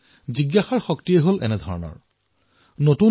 জিজ্ঞাসাৰ শক্তিয়েই এনেকুৱা